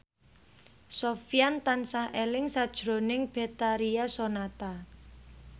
Sofyan tansah eling sakjroning Betharia Sonata